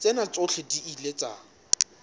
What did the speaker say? tsena tsohle di ile tsa